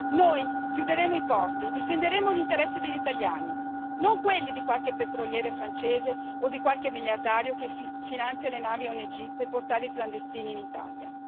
Noi chiuderemo i porti e difenderemo gli interessi degli italiani, non quelli di qualche petroliere francese o di qualche miliardario che finanzia le navi ONG per portare i clandestini in Italia.